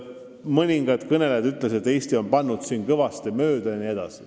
Mõningad kõnelejad ütlesid, et Eesti on siin kõvasti mööda pannud.